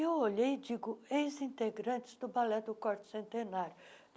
Eu olhei e digo, ex-integrantes do Balé do quarto Centenário.